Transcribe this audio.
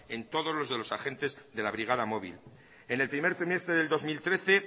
en todos los de los agentes de la brigada móvil en el primer trimestre del dos mil trece